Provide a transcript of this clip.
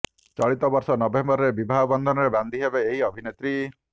ଚଳିତ ବର୍ଷ ନଭେମ୍ବରରେ ବିବାହ ବନ୍ଧନରେ ବାନ୍ଧି ହେବେ ଏହି ଅଭିନେତ୍ରୀ